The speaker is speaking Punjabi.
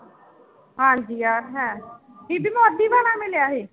ਹਾਂਜੀ ਆਹ ਤਾਂ ਹੈ, ਬੀਬੀ ਮੋਦੀ ਵਾਲਾ ਮਿਲਿਆ ਸੀ?